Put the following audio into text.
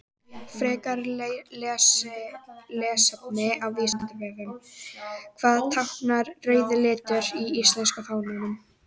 Frekara lesefni á Vísindavefnum: Hvað táknar rauði liturinn í íslenska fánanum?